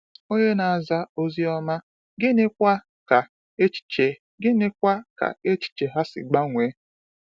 Ònye na-aza Ozi Ọma, gịnịkwa ka echiche gịnịkwa ka echiche ha si gbanwee?